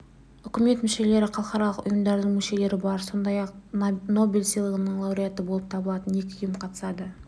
үкімет мүшелері халықаралық ұйымдардың мүшелері бар сондай-ақ нобель сыйлығының лауреаты болып табылатын екі ұйым қатысады